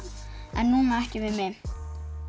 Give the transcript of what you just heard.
en núna ekki við mig